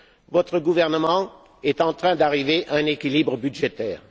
Votre gouvernement est en train d'arriver à un équilibre budgétaire.